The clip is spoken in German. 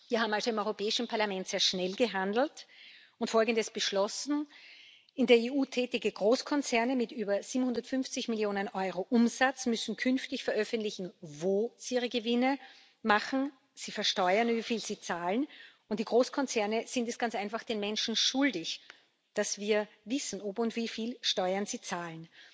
Wir haben also im Europäischen Parlament sehr schnell gehandelt und Folgendes beschlossen In der EU tätige Großkonzerne mit über 750 Millionen EUR Umsatz müssen künftig veröffentlichen, wo sie ihre Gewinne machen, sie versteuern, wie viel sie zahlen, und die Großkonzerne sind es ganz einfach den Menschen schuldig, dass wir wissen, ob und wie viel Steuern sie zahlen.